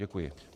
Děkuji.